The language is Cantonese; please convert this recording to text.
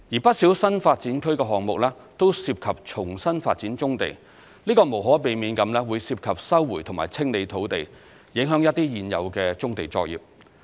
不少新發展區項目均涉及重新發展棕地，這無可避免會涉及收回及清理土地，影響一些現有的棕地作業。